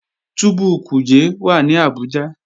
Túbú Kuje wà ní Abuja